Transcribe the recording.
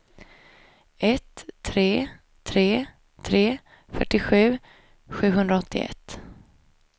ett tre tre tre fyrtiosju sjuhundraåttioett